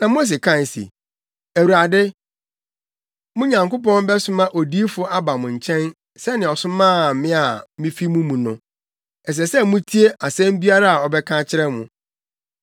Na Mose kae se, ‘Awurade, mo Nyankopɔn bɛsoma odiyifo aba mo nkyɛn sɛnea ɔsomaa me a mifi mo mu no. Ɛsɛ sɛ mutie asɛm biara a ɔbɛka akyerɛ mo.